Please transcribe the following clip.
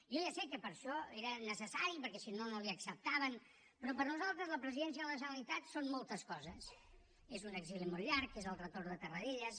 jo ja sé que per això era necessari perquè si no no li ho acceptaven però per nosaltres la presidència de la generalitat són moltes coses és un exili molt llarg és el retorn de tarradellas